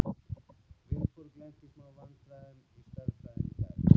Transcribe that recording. Vilborg lenti í smá vandræðum í stærðfræði í dag.